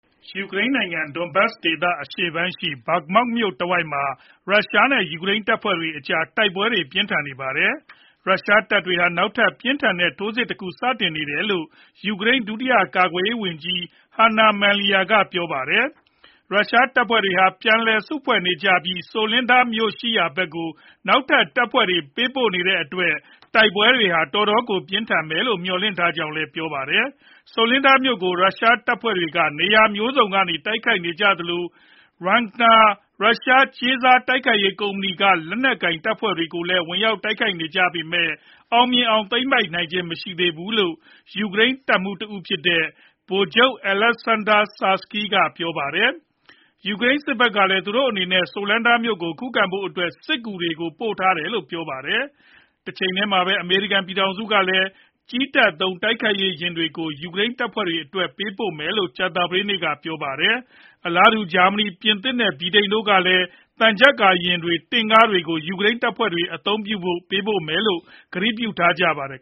ယူကရိန်းနိုင်ငံ Donbas ဒေသ အရှေ့ပိုင်း Bakhmut မြို့တဝိုက်မှာ ရုရှားနဲ့ယူကရိန်းတပ်တွေကြား တိုက်ပွဲတွေ ပြင်းထန်နေပါတယ်။ ရုရှားတပ်ဖွဲ့တွေဟာ နောက်ထပ် ပြင်းထန်တဲ့ထိုးစစ်တခု စတင်နေတယ်လို့ ယူကရိန်း ဒုတိယကာကွယ်ရေးဝန်ကြီး Hanna Maliar က ပြောပါတယ်။ ရုရှားတပ်ဖွဲ့တွေဟာ ပြန်လည်စုဖွဲ့နေကြပြီး Soledar မြို့ရှိရာဘက်ကို နောက်ထပ်တပ်ဖွဲ့တွေ ပို့ပေးနေတဲ့အတွက် တိုက်ပွဲတွေ တော်တော်ကိုပြင်းထန်မယ်လို့ မျှော်လင့်ထားကြောင်းလည်း ပြောပါတယ်။ Soledar မြို့ကို ရုရှားတပ်ဖွဲ့တွေက နေရာမျိုးစုံကနေ တိုက်ခိုက်ခဲ့ကြသလို Wagner ရုရှားကြေးစား တိုက်ခိုက်ရေးကုမ္ပဏီက လက်နက်ကိုင်တပ်ဖွဲ့တွေလည်း ဝင်ရောက် တိုက်ခိုက်နေကြပေမယ့်လည်း အောင်မြင်အောင် သိမ်းပိုက်နိုင်ခြင်းမရှိသေးဘူးလို့ ယူကရိန်းတပ်မှူးတဦးဖြစ်တဲ့ ဗိုလ်ချုပ် Oleksandr Syrskyi က ပြောပါတယ်။ ယူကရိန်းစစ်ဘက်ကလည်း သူတို့အနေနဲ့ Soledar မြို့ကိုခုခံဖို့ စစ်ကူတွေ ပို့ထားတယ်လို့ ပြောပါတယ်။ တချိန်တည်းမှာပဲ အမေရိကန်ပြည်ထောင်စုကလည်း ကြည်းတပ်သုံး တိုက်ခိုက်ရေးယာဉ်တွေကို ယူကရိန်းတပ်ဖွဲ့တွေအတွက်ပေးပို့မယ်လို့ ကြာသပတေးနေ့က ကြေညာခဲ့ပါတယ်။ အလားတူ ဂျာမနီ၊ ပြင်သစ်နဲ့ ဗြိတိန်တို့ကလည်း သံချပ်ကာယာဉ်တွေ၊ တင့်ကားတွေ၊ ယူကရိန်းတပ်ဖွဲ့တွေကို ပေးပို့ဖို့ ကတိပြုထားကြပါတယ်